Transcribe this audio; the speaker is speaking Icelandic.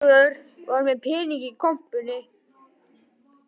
Guðlaugur var með peninga í kompunni